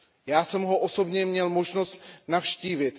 Já jsem ho osobně měl možnost navštívit.